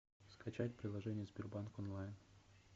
скачать приложение сбербанк онлайн